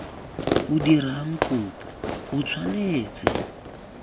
o dirang kopo o tshwanetse